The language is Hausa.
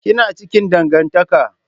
Ki na cikin dangantaka.